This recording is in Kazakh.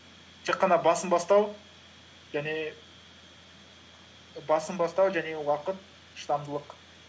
тек қана басын бастау және уақыт шыдамдылық